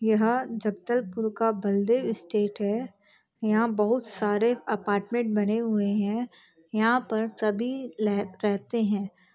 यह जगदलपुर का बलदेव स्टेट हैं यहाँ बहुत सारे अपार्टमेंट बने हुए हैं यहाँ पर सभी लह रहते हैं।